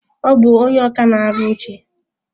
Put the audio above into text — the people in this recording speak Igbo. Ọ bụ ónyé ọkà na-arụ oche.